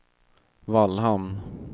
Vallhamn